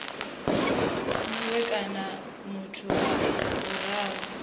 mue kana muthu wa vhuraru